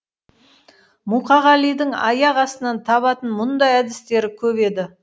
мұқағалидың аяқ астынан табатын мұндай әдістері көп еді